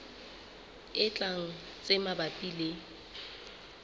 e tlang tse mabapi le